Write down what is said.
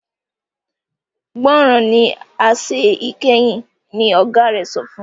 gbọràn sí àṣẹ ìkẹyìn! ní ọgá rẹ sọfún